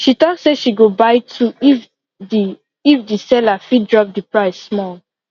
she talk say she go buy two if the if the seller fit drop the price small